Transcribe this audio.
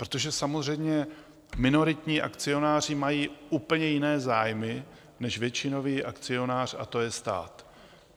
Protože samozřejmě minoritní akcionáři mají úplně jiné zájmy než většinový akcionář a to je stát.